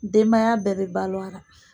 Denbaya bɛɛ bɛ balo a ra.